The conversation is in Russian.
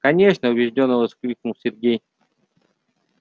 конечно убеждённо воскликнул сергей